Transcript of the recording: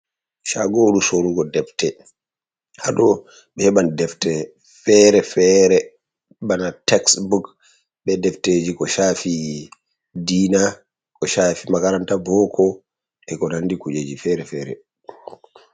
Shaagoru sorugo defte. Haɗo ɓe heɓan defte feere- feere, bana teksbuk, be defteeji ko shaafi diina, ko shaafi makaranta boko, e ko nandi kujeji fere-fere.